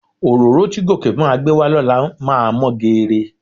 Òróró tí Gòkè máa gbé wá lọ́la máa mọ́ geere.